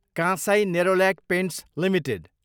Kansai Nerolac paints Ltd